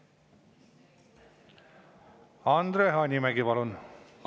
Andre Hanimägi, palun!